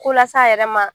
Ko las'a yɛrɛ ma